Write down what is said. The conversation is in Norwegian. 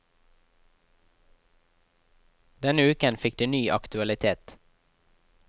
Denne uken fikk det ny aktualitet.